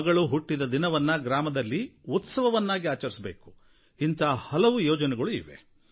ಮಗಳು ಹುಟ್ಟಿದ ದಿನದಂದು ಗ್ರಾಮದಲ್ಲಿ ಉತ್ಸವವನ್ನು ಆಚರಿಸಬೇಕು ಇಂಥ ಹಲವು ಯೋಜನೆಗಳು ಇವೆ